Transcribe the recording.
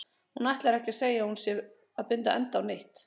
Hún ætlar ekki að segja að hún sé að binda enda á neitt.